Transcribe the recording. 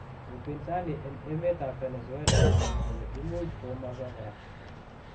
upinsani en emet ab Venezuela kogamwa kole imuch kogomoso kora.